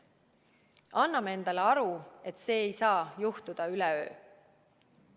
Anname endale aru, et see ei saa juhtuda üleöö.